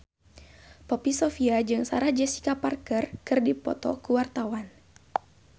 Poppy Sovia jeung Sarah Jessica Parker keur dipoto ku wartawan